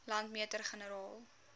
landmeter generaal